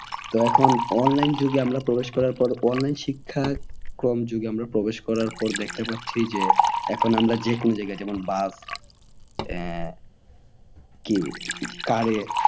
তো এখন online যুগে আমরা প্রবেশ করার পর online শিক্ষা যুগে আমরা প্রবেশ করার পর আমরা দেখতে পাচ্ছি যে এখন আমরা যে কোনো জায়গায় যেমন বাস আহ car এ